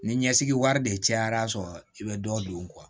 Ni ɲɛsigi wari de cayara a sɔrɔ i bɛ dɔ don